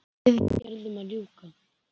Viðgerðum að ljúka